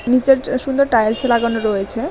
নীচের ট সুন্দর টাইলস লাগানো রয়েছে।